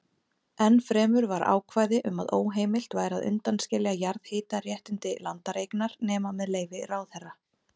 Ennfremur var ákvæði um að óheimilt væri að undanskilja jarðhitaréttindi landareignar nema með leyfi ráðherra.